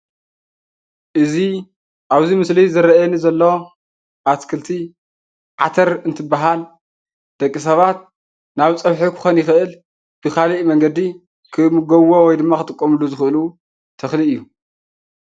እዚ ኣብዚ ምስሊ ዝርኣየኒ ዘሎ ኣትክልቲ ዓተር እንትብሃል ደቂ ሰባት ናብ ፀብሒ ክኾን ይኽእል ንኻልእ መንገዲ ክምገብዎ ወይ ድማ ክጥቀምሉ ዝኽእሉ ተኽሊ እዩ።